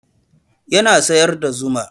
Ya sayar da zuma